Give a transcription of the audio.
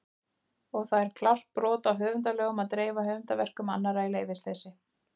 Og það er klárt brot á höfundalögum að dreifa höfundarverkum annarra í leyfisleysi!